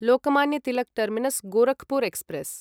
Lokmanya Tilak terminus Gorakhpur express